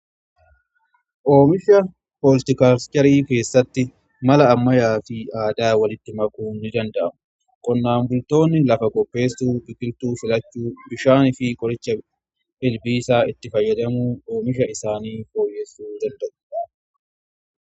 Oomisha poostikaajerii keessatti mala ammayaa fi aadaa walitti makuu ni danda'amu qonnaan bultoonni lafa qopheessuu biqiltuu filachuu bishaanii fi qoricha ilbiisaa itti fayyadamu oomisha isaanii fooyyessuu ni danda'u.